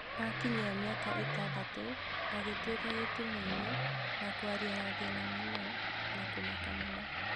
Akinyia mĩaka ĩtandatũ, agĩtwĩka gĩtumumu na kwaria na thĩna mũno na kũmaka mũno.